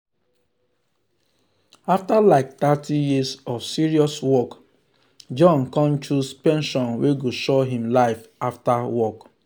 after like thirty years of serious work john con choose pension wey go sure him life after work.